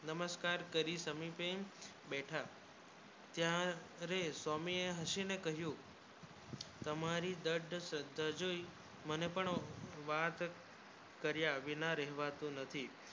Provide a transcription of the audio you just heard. નમસ્કાર કરી સમી પણ બૈઠા ત્યારે સ્વામી હસીને કહ્યું તમારી દાળ સજ્જ તાયી મારે પણ વાત કરી આવી ના રહીંવતૂ નથી